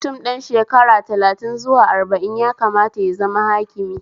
Mutum ɗan shekara talatin zuwa arba'in ya kamata ya zama hakimi